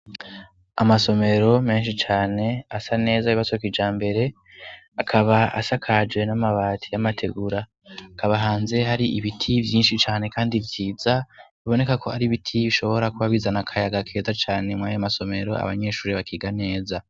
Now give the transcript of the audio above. Amasomero menshi cane asa neza, yubatse kijambere. Akaba asakaje n'amabati y'amategura. Hakaba hanze hari ibiti vyinshi cane kandi vyiza, biboneka ko ari ibiti bishobora kuba bizana akayaga keza cane mw'ayo masomero abanyeshuri bakiga neza.